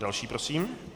Další prosím?